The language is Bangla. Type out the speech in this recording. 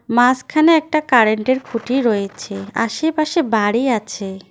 মাসখানে একটা কারেন্ট -এর খুঁটি রয়েছে আশেপাশে বাড়ি আছে।